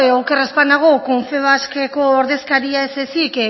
oker ez banago confebaskeko ordezkariak ez ezik